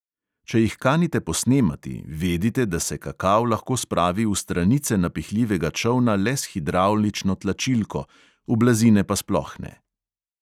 Če jih kanite posnemati, vedite, da se kakav lahko spravi v stranice napihljivega čolna le s hidravlično tlačilko, v blazine pa sploh ne.